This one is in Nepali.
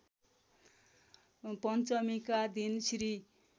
पञ्चमीका दिन श्री